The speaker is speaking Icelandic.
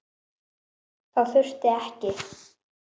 Það þurfti ekki.